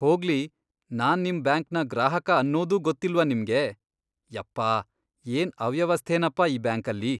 ಹೋಗ್ಲಿ, ನಾನ್ ನಿಮ್ ಬ್ಯಾಂಕ್ನ ಗ್ರಾಹಕ ಅನ್ನೋದೂ ಗೊತ್ತಿಲ್ವಾ ನಿಮ್ಗೆ? ಯಪ್ಪ, ಏನ್ ಅವ್ಯವಸ್ಥೆನಪ ಈ ಬ್ಯಾಂಕಲ್ಲಿ..